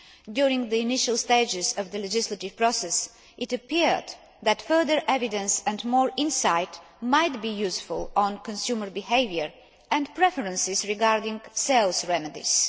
During the initial stages of the legislative process, it appeared that further evidence and more insight might be useful on consumer behaviour and preferences regarding sales remedies.